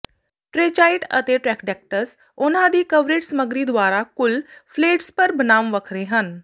ਟ੍ਰੈਚਾਈਟ ਅਤੇ ਟ੍ਰੈਖਡੈਕੈਟਸ ਉਹਨਾਂ ਦੀ ਕਵਰੇਟ ਸਮੱਗਰੀ ਦੁਆਰਾ ਕੁੱਲ ਫਲੇਡਸਪਰ ਬਨਾਮ ਵੱਖਰੇ ਹਨ